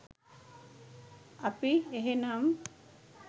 අපි එහෙනම්